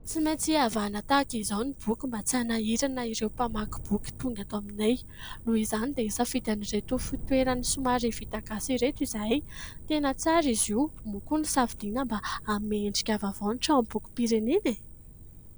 Tsy maintsy avahana tahaka izao ny boky mba tsy hanahirana ireo mpamaky boky tonga ato aminay. Noho izany dia nisafidy an'ireto fitoerany somary vita gasy ireto izahay. Tena tsara izy io moa koa nosafidiana mba hanome endrika vaovao tranombokim-pirenena e !